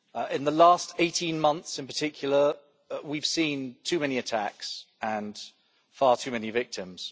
In the last 18 months, in particular, we have seen too many attacks and far too many victims.